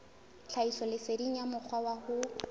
tlhahisoleseding ya mokgwa wa ho